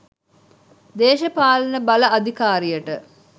දේශපාලන බල අධිකාරියට